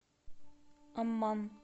амман